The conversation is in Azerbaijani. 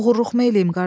Oğurluqmu eləyim qardaş?